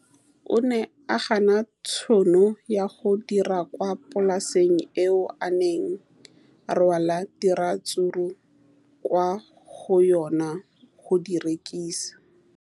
O ne a gana tšhono ya go dira kwa polaseng eo a neng rwala diratsuru kwa go yona go di rekisa.